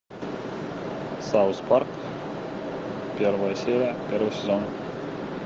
саус парк первая серия первый сезон